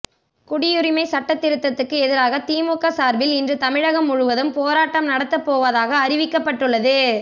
குடியுரிமை சட்டத் திருத்தத்துக்கு எதிராக திமுக சார்பில் இன்று தமிழகம் முழுவதும் போராட்டம் நடத்தப்போவதாக அறிவிக்கப்பட்டுள்ளது